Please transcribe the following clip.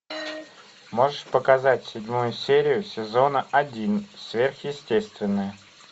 можешь показать седьмую серию сезона один сверхъестественное